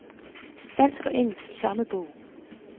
Dansk og engelsk i samme bog.